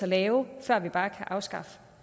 lave før man bare kan afskaffe